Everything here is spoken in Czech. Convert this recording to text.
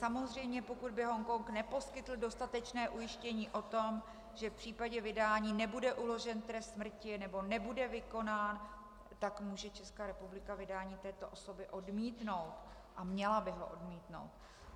Samozřejmě pokud by Hongkong neposkytl dostatečné ujištění o tom, že v případě vydání nebude uložen trest smrti nebo nebude vykonán, tak může Česká republika vydání této osoby odmítnout - a měla by ho odmítnout.